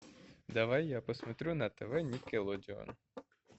давай я посмотрю на тв никелодеон